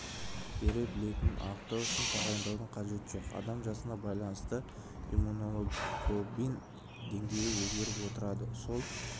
бере білетінін анықтау үшін тағайындаудың қажеті жоқ адам жасына байланысты иммуноглобулин деңгейі өзгеріп отырады сол